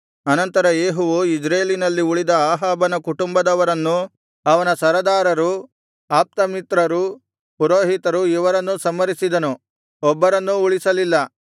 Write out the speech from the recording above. ಅನಂತರ ಯೇಹುವು ಇಜ್ರೇಲಿನಲ್ಲಿ ಉಳಿದ ಅಹಾಬನ ಕುಟುಂಬದವರನ್ನೂ ಅವನ ಸರದಾರರೂ ಆಪ್ತಮಿತ್ರರೂ ಪುರೋಹಿತರು ಇವರನ್ನೂ ಸಂಹರಿಸಿದನು ಒಬ್ಬನನ್ನೂ ಉಳಿಸಲಿಲ್ಲ